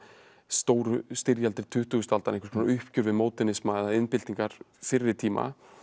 stóru styrjaldir tuttugustu aldar einhvers konar uppgjör við módernisma eða iðnbyltingar fyrir tíma